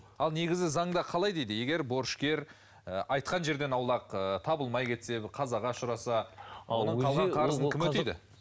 ал негізі заңда қалай дейді егер борышкер ы айтқан жерден аулақ ы табылмай кетсе бір қазаға ұшыраса кім өтейді